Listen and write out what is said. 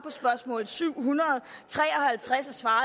på spørgsmål syv hundrede og tre og halvtreds har